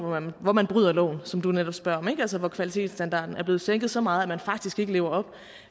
hvor man bryder loven som du netop spørger om altså hvor kvalitetsstandarden er blevet sænket så meget at man faktisk ikke lever op